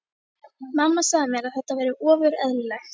Mamma sagði mér að þetta væri ofur eðlilegt.